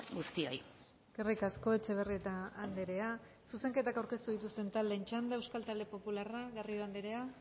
guztioi eskerrik asko etxebarrieta andrea zuzenketa aurkeztu dituzte taldeen txanda euskal talde popularra garrido andrea